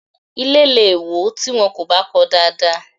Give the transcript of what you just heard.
Ilé lè wò tí wọn kò bá kọọ dáadáa